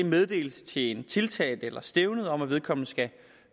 en meddelelse til en tiltalt eller et stævne om at vedkommende skal